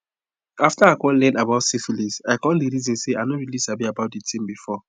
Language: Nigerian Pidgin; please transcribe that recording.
after i come learn about syphilis i come the reason say i no really sabi anything about it before